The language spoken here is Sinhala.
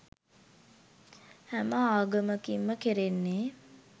හැම ආගමකින් ම කෙරෙන්නේ